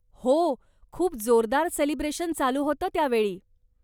हो, खूप जोरदार सेलिब्रेशन चालू होतं त्या वेळी.